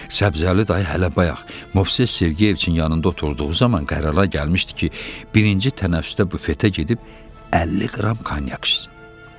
Səbzəli dayı hələ bayaq Movses Sergeyeviçin yanında oturduğu zaman qərara gəlmişdi ki, birinci tənəffüsdə bufetə gedib 50 qram konyak içsin.